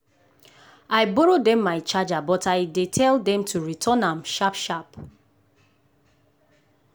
i borrow dem my charger but i tell dey dem to return am sharp sharp.